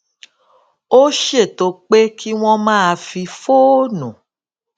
ó ṣètò pé kí wón máa fi fóònù